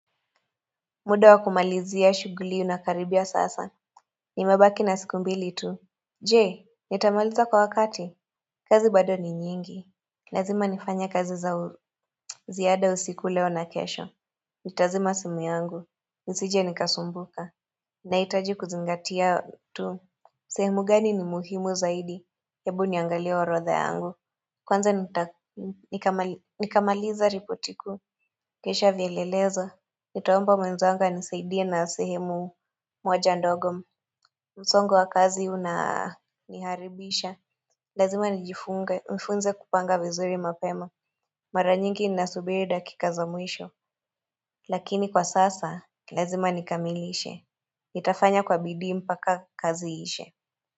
Muda wa kumalizia shughuli unakaribia sasa Nimebaki na siku mbili tu je, nitamaliza kwa wakati kazi bado ni nyingi Lazima nifanye kazi za ziada usiku leo na kesho Nitazima simu yangu nisije nikasumbuka Nahitaji kuzingatia tu sehemu gani ni muhimu zaidi ebu niangalie orodha yangu Kwanza nita nikamaliza ripoti kuu kisha vielelezo Nitaomba mwenzangu anisaidie na sehemu moja ndogo msongo wa kazi unaniharibisha Lazima nijifunge, nifunze kupanga vizuri mapema Mara nyingi nasubiri dakika za mwisho Lakini kwa sasa, lazima nikamilishe Nitafanya kwa bidii mpaka kazi iishe.